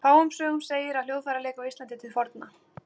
Fáum sögum segir af hljóðfæraleik á Íslandi til forna.